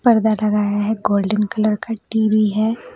पर्दा लगाया है गोल्डन कलर का टी_वी है।